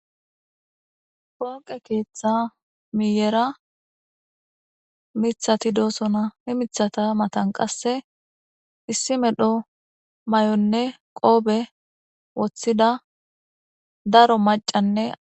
Pooqe keeththa miyera miththati doosona,qasse miththata matara issi medho mayonne koope wothida daro maccanne aa......